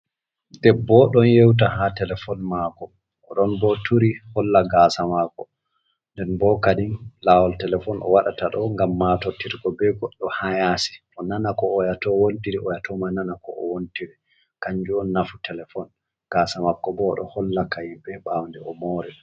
Debbo o'ɗon yewta ha telefon mako oɗon bo turi holla gasa mako nden bo kadin lawol telefon o waɗata ɗo ngam matortirgo be goɗɗo ha yasi bo onana ko oyato wontiri, oyato ma nana ko o'wontire kanjum on nafu telefon. Gasa mako bo oɗo hollaka yimɓe bawnde omori.